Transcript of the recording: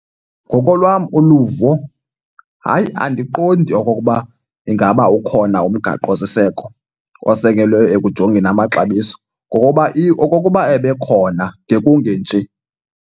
Ngokolwam uluvo, hayi, andiqondi okokuba ingaba ukhona umgaqosiseko osekelwe ekujongeni amaxabiso ngokuba okokuba ebekhona ngekungenje.